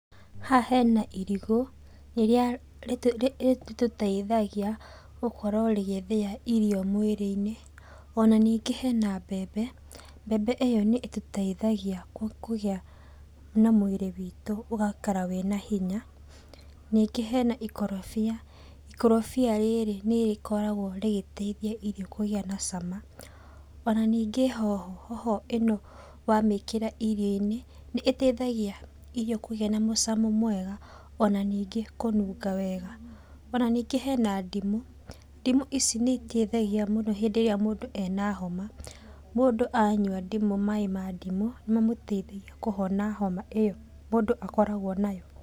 Haha hena irigũ, rĩrĩa rĩ rĩtũteithagia gũkorwo rĩgĩthĩa irio mwĩrĩ-inĩ, ona ningĩ hena mbembe, mbembe ĩyo nĩ ĩtuteithagia kũ kũgĩa na mwĩrĩ witũ ũgaikara wĩna hinya, ningĩ hena ikorobia. Ikorobia rĩrĩ nĩrĩkoragwo rĩgĩteithia irio kũgĩa na cama, ona ningĩ hoho, hoho ino wamĩkĩra irio-inĩ, nĩ iteithagia irio kũgĩa na mũcamo mwega ona ningĩ kũnũnga wega. Ona ningĩ hena ndimũ. Ndimũ ici nĩ iteithagia mũndũ hĩndĩ ĩrĩa mũndũ ena homa. Mũndũ anyua ndimũ, maĩ ma ndimũ mamũteithagia kũhona homa ĩyo mũndũ akoragwo nayo.